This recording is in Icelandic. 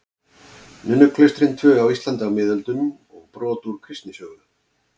Nunnuklaustrin tvö á Íslandi á miðöldum og brot úr kristnisögu.